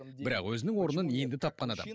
бірақ өзінің орнын енді тапқан адам